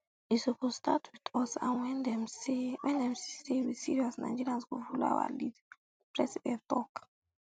e suppose start wit us and wen dem see say we serious nigerians go follow our lead di president tok